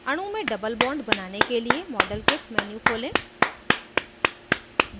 अणु में double bond बनाने के लिए model kit menu खोलें